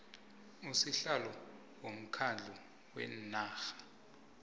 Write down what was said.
sihlalo womkhandlu wenarha